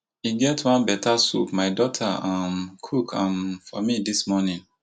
e get one beta soup my daughter um cook um for me dis morning